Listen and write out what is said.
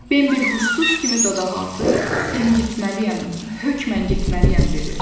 Bambi hurşsuz kimi dodaqaltı 'Mən getməliyəm, hökmən getməliyəm' dedi.